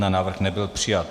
Návrh nebyl přijat.